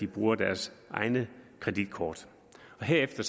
bruger deres egne kreditkort og herefter